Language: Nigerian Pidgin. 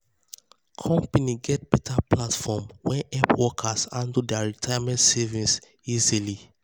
company get better platform wey help workers handle their retirement savings easy.